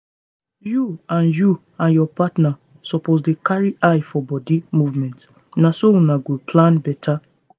you and you and your partner suppose dey carry eye for body movement na so una go plan better.